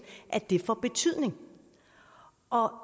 får betydning